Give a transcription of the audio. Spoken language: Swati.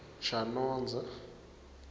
tjonodze